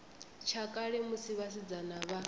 tsha kale musi vhasidzana vha